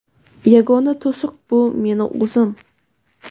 yagona to‘siq - bu meni o‘zim.